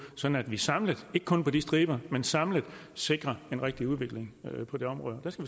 sådan at vi samlet ikke kun på de striber men samlet sikrer en rigtig udvikling på det område der skal